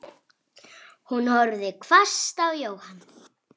Hún horfði hvasst á Jóhann.